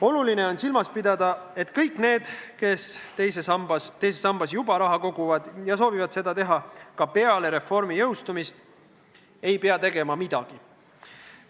Oluline on silmas pidada, et kõik need, kes teise sambasse juba raha koguvad ja soovivad seda teha ka peale reformi jõustumist, ei pea tegema midagi.